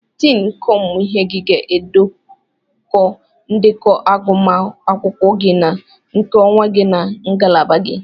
Diini nke ọmụmụ gị ga-edekọ ndekọ agụmakwụkwọ gị na nke onwe gị na ngalaba gị.